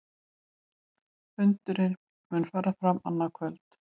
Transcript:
Fundurinn mun fara fram annað kvöld